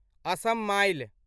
Assam mile